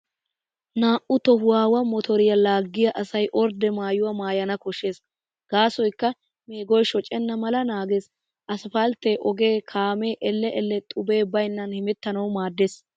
Naa"u tohuwaawa motoriyaa laaggiyaa asay ordde maayuwaa maayana koshshees, gaasoykka meegoy shocenna mala naagees. Asphaltte ogee kaamee elle elle xubee baynnan hemettanawu maaddees.